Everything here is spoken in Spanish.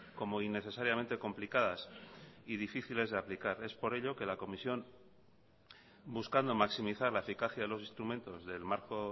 como innecesariamente complicadas y difíciles de aplicar es por ello que la comisión buscando maximizar la eficacia de los instrumentos del marco